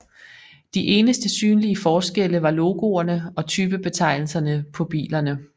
De eneste synlige forskelle var logoerne og typebetegnelserne på bilerne